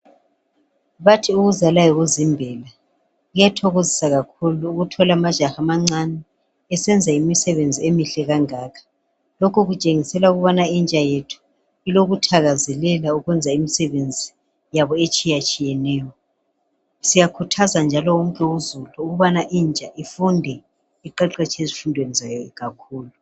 Bathi ukuzala yikuzimbela. Kuyathokozisa kakhulu ukuthola amajaha amancane esenza imisebenzi emihle kangaka. Lokhu kutshengisela ukubana intsha yethu ilokuthakazelela ukwenza imisebenzi yabo etshiyatshiyeneyo. Siyakhuthaza njalo wonke uzulu okubana intsha ifunde iqeqetshe ezifundweni zayo kakhulu.